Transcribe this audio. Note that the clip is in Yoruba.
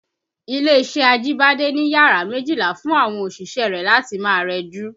Ilé-iṣẹ́ Ajibade ni yàrá méjìlá fún àwọn òṣìṣẹ́ rẹ̀ láti máa rẹjú